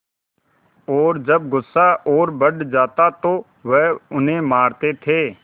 और जब गुस्सा और बढ़ जाता तो वह उन्हें मारते थे